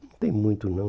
Não tem muito não.